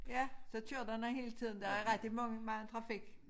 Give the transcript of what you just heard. Ja så kører der nogen hele tiden der er rigtig mange mange trafik